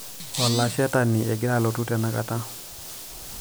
olashetani egira alotu tenakata